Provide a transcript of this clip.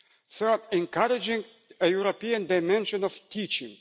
third, encouraging a European dimension of teaching